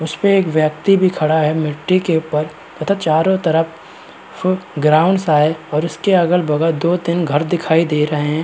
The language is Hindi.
उस पे एक व्यक्ति भी खड़ा है। मिटटी के ऊपर तथा चारों तरफ ग्राउंड सा है और इसके अगल-बगल दो तीन घर दिखाई दे रहे हैं।